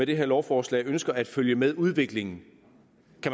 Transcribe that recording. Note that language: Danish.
det her lovforslag ønsker at følge med udviklingen